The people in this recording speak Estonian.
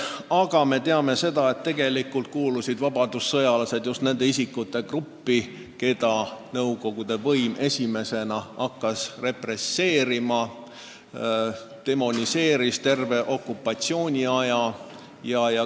Aga me teame, et tegelikult kuulusid vabadussõjalased just nende isikute hulka, keda nõukogude võim hakkas esimesena represseerima ja keda demoniseeriti terve okupatsiooniaja jooksul.